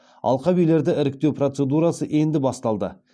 алқабилерді іріктеу процедурасы енді басталды